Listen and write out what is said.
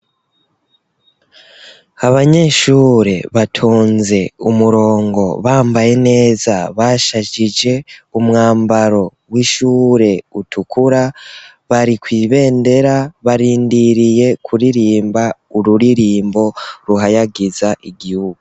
Abanyeshure batonze umurongo bambaye neza bashajije umwambaro w'ishure utukura, bari kw'ibendera, barindiriye kuririmba ururirimbo ruhayagiza igihugu.